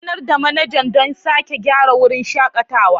Sanar da manajan don sake gyara wurin shakatawa.